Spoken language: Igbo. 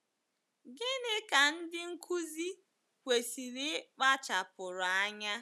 Gịnị ka ndị nkụzi kwesịrị ịkpachapụrụ anya?